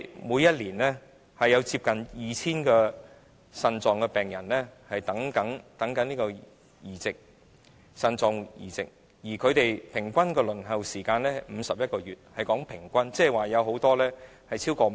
每年有接近 2,000 名腎病病人正在輪候腎臟移植，而平均的輪候時間是51個月，這是平均數字，即是說很多病人已輪候了超過5年。